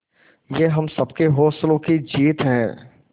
ये हम सबके हौसलों की जीत है